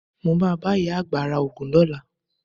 Mo máa bá ìyá àgbà ra Ògùn lọ́la.